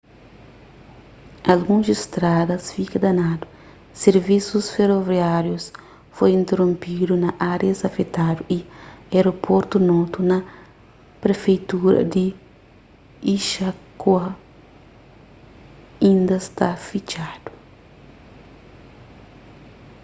alguns stradas fika danadu sirvisus feroviáriu foi interonpidu na árias afetadu y aeroportu noto na prefeitura di ishikawa inda sta fitxadu